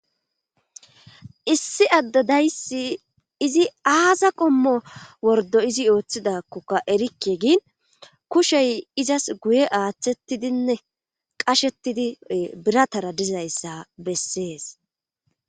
Issi adde dayssi izi aaza qommo wordo izi ooththidakkoka erikke gin kushey izas guye aaththettidinne qashettidi biratara dizayssa bessees